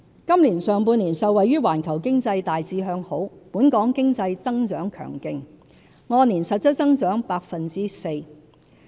今年上半年，受惠於環球經濟大致向好，本港經濟增長強勁，按年實質增長 4%。